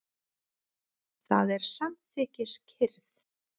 Það er samþykkis- kyrrð.